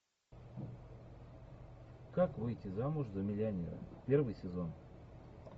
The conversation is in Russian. как выйти замуж за миллионера первый сезон